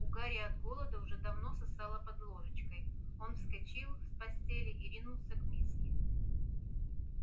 у гарри от голода уже давно сосало под ложечкой он вскочил с постели и ринулся к миске